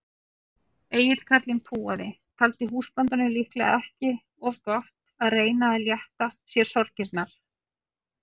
Egill karlinn púaði, taldi húsbóndanum líklega ekki of gott að reyna að létta sér sorgirnar.